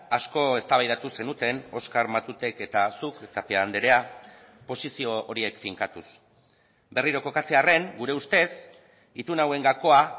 asko eztabaidatu zenuten oskar matutek eta zuk tapia andrea posizio horiek finkatuz berriro kokatzearren gure ustez itun hauen gakoa